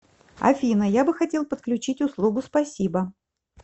афина я бы хотел подключить услугу спасибо